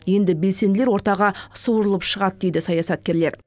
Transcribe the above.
енді белсенділер ортаға суырылып шығады дейді саясаткерлер